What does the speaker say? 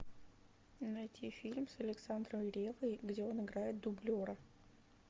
найти фильм с александром реввой где он играет дублера